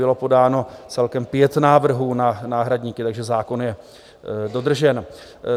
Bylo podáno celkem 5 návrhů na náhradníky, takže zákon je dodržen.